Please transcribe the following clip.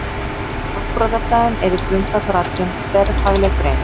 Afbrotafræðin er í grundvallaratriðum þverfagleg grein.